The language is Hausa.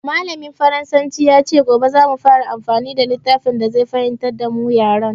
Mallamin faransanci ya ce gobe za mu fara amfani da littafin da zai fahimtar da mu yaren.